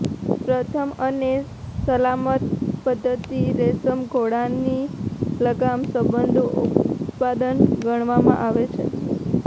પ્રથમ અને સલામત પદ્ધતિ રેશમ ઘોડાની લગામ સંબંધો ઉત્પાદન ગણવામાં આવે છે